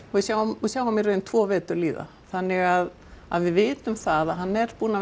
við sjáum við sjáum í raun tvo vetur líða þannig að að við vitum það að hann er búinn að